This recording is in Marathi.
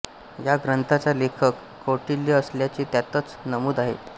या ग्रंथाचा लेखक कौटिल्य असल्याचे त्यातच नमूद आहे